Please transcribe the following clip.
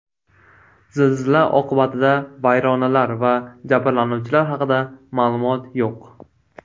Zilzila oqibatida vayronalar va jabrlanuvchilar haqida ma’lumot yo‘q.